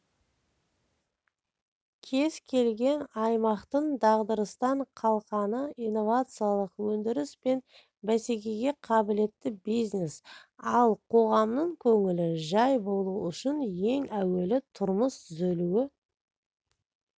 кез келген аймақтың дағдарыстан қалқаны инновациялық өндіріс пен бәсекеге қабілетті бизнес ал қоғамның көңілі жай болу үшін ең әуелі тұрмыс түзелуі